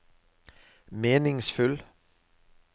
meningsfull